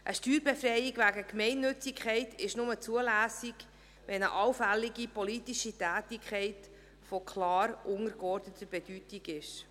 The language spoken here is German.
Eine Steuerbefreiung wegen Gemeinnützigkeit ist nur zulässig, wenn eine allfällige politische Tätigkeit von klar untergeordneter Bedeutung ist.